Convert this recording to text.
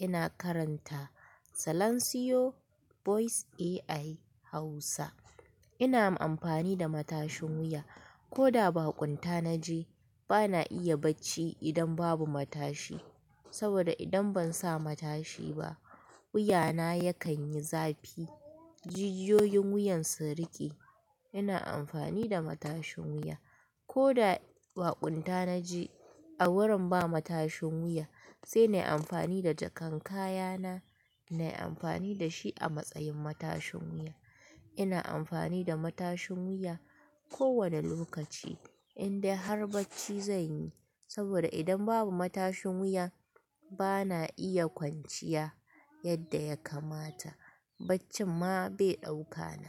Ina karanta Silansiyo Voice AI Hausa. Ina amfani da matashin wuya. Ko da ba kunta na je, bana iya bacci idan babu matashi. Saboda idan ban sa matashi ba, wuya na yakan yi zafi. Jujjiyoyin wuyan su riƙe. Ina amfani da matashin wuya. Ko da ba kwanta na je a wurin ba matashin wuya, sai na yi amfani da jakan kaya na, na yi amfani da shi a matsayin matashin wuya. Ina amfani da matashin wuya kowane lokaci inda har bacci zan yi. Saboda idan babu matashin wuya bana iya kwanciya yadda ya kamata. Baccin ma bai ɗauka na.